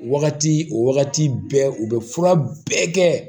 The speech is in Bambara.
O wagati o wagati bɛɛ u bɛ fura bɛɛ kɛ